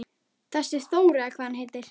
Þessi Þór eða hvað hann heitir.